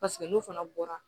Paseke n'u fana bɔra